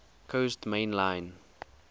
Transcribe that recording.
coast main line